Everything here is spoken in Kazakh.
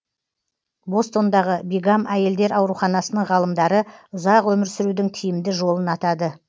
бостондағы бигам әйелдер ауруханасының ғалымдары ұзақ өмір сүрудің тиімді жолын атады